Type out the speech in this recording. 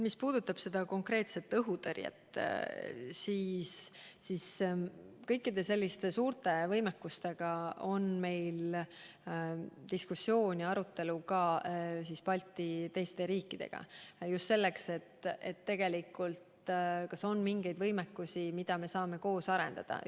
Mis puudutab seda konkreetset õhutõrjet, siis kõikide selliste suurte võimekuste puhul diskuteerime me teiste Balti riikidega – just selleks, et kas on mingeid võimekusi, mida me saaksime koos arendada.